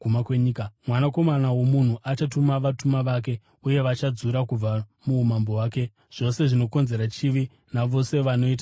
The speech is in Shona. Mwanakomana woMunhu achatuma vatumwa vake uye vachadzura kubva muumambo hwake zvose zvinokonzera chivi navose vanoita zvakaipa.